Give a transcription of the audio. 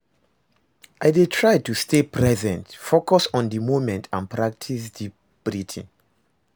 I dey try to stay present, focus on di moment and practice deep breathing.